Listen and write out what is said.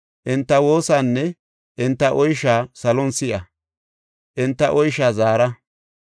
enta woosaanne enta oysha salon si7a; enta oysha zaara.